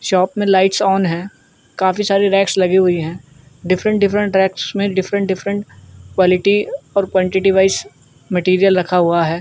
Shop मे lights on है। काफ़ी सारी रैक्स लगी हुई हैं। डिफ्रन्ट डिफ्रन्ट रेक्स मे डिफ्रन्ट डिफ्रन्ट क्वालिटी और क्वानटिटी वाइज़ और मैटेरियल रखा हुआ है।